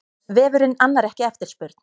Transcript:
Vefurinn annar ekki eftirspurn